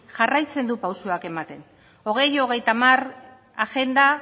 jarraitzen du pausoak ematen bi mila hogeita hamar agenda